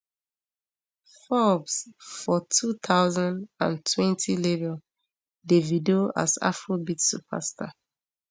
forbes for two thousand and twenty label davido as afrobeats superstar